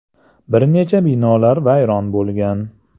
Bir nechta binolar vayron bo‘lgan.